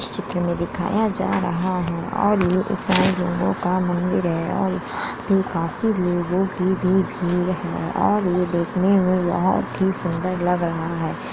स चित्र में दिखाया जा रहा है और ये ईसाई लोगों का मंदिर है और भी काफी लोगों की भी भीड़ है और ये देखने में बहोत ही सुंदर लग रहा है।